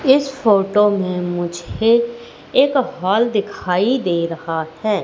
इस फोटो में मुझे एक हॉल दिखाई दे रहा है।